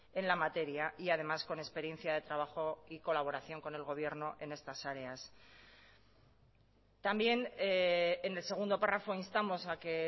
en la materia y además con experiencia de trabajo y colaboración con el gobierno en estas áreas también en el segundo párrafo instamos a que